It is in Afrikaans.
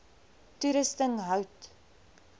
toerusting hout